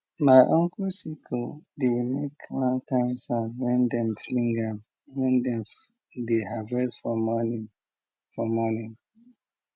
my uncle sickle dey make one kind sound when dem fling am when dem dey harvest for morning for morning